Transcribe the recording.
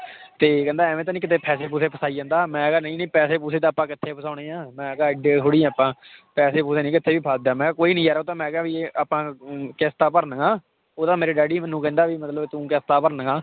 ਤੇ ਕਹਿੰਦਾ ਇਵੇਂ ਤਾਂ ਨੀ ਕਿਤੇ ਪੈਸੇ ਪੂਸੇ ਫਸਾਈ ਜਾਂਦਾ ਮੈਂ ਕਿਹਾ ਨਹੀਂ ਨਹੀਂ ਪੈਸੇ ਪੂਸੇ ਤਾਂ ਆਪਾਂ ਕਿੱਥੇ ਫਸਾਉਣੇ ਆਂਂ, ਮੈਂ ਕਿਹਾ ਇੱਡੇ ਥੋੜ੍ਹੀ ਆਪਾਂ ਪੈਸੇ ਪੂਸੇ ਨੀ ਕਿਤੇ ਵੀ ਫਸਦੇ, ਮੈਂ ਕਿਹਾ ਕੋਈ ਨੀ ਯਾਰ ਉਹ ਤਾਂ ਮੈਂ ਕਿਹਾ ਵੀ ਆਪਾਂ ਅਮ ਕਿਸ਼ਤਾਂ ਭਰਨੀਆਂ ਉਹ ਤਾਂ ਮੇਰੇ ਡੈਡੀ ਮੈਨੂੰ ਕਹਿੰਦਾ ਵੀ ਮਤਲਬ ਤੂੰ ਕਿਸ਼ਤਾਂ ਭਰਨੀਆਂ